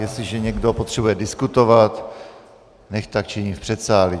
Jestliže někdo potřebuje diskutovat, nechť tak činí v předsálí.